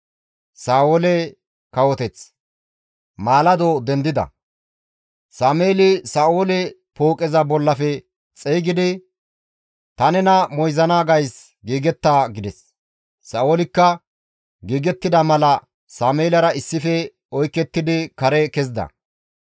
Maalado dendida; Sameeli Sa7oole pooqeza bollafe xeygidi, «Ta nena moyzana gays giigetta» gides. Sa7oolikka giigettida mala Sameelara issife oykettidi kare kezida.